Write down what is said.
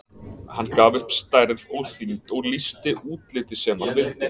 Hann gaf upp stærð og þyngd og lýsti útliti sem hann vildi.